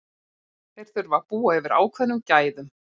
Þeir þurfa að búa yfir ákveðnum gæðum.